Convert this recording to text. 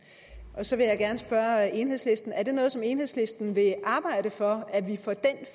og så vil jeg gerne spørge enhedslisten er det noget som enhedslisten vil arbejde for at vi får den